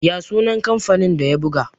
ya sunan kamfanin da ya buga?